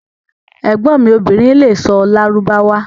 Ẹgbon mi obìrín lè sọ̀ Lárúbáwá